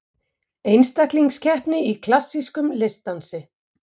Einstaklingskeppni í klassískum listdansi